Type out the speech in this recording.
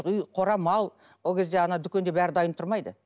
үй қора мал ол кезде ана дүкенде бәрі дайын тұрмайды